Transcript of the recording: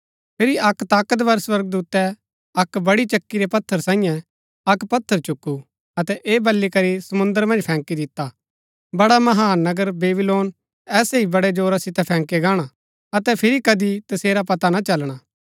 फिरी अक्क ताकतवर स्वर्गदूतै अक्क बड़ी चक्की रै पत्थर सांईये अक्क पत्थर चुकु अतै ऐह बली करी समुंद्र मन्ज फैंकी दिता बड़ा महान नगर बेबीलोन ऐसै ही बड़े जोरा सितै फैंकया गाणा अतै फिरी कदी तसेरा पता ना चलना